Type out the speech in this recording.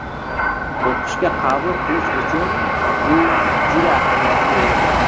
O‘qishga qabul qilish uchun bu juda ahamiyatli edi.